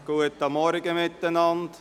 Guten Morgen miteinander.